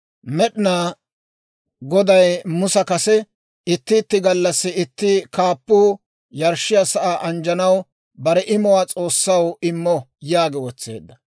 Med'inaa Goday Musa kase, «Itti itti gallassi itti kaappuu yarshshiyaa sa'aa anjjanaw bare imuwaa S'oossaw immo» yaagi wotseedda.